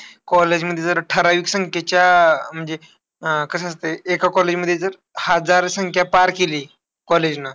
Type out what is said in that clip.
College मध्ये जर ठराविक संख्येच्या म्हणजे, अं कसं असतंय एका college मध्ये जर अह हजार संख्या पार केली. College ना,